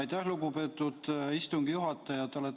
Aitäh, lugupeetud istungi juhataja!